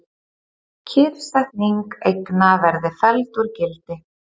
Kyrrsetning eigna verði felld úr gildi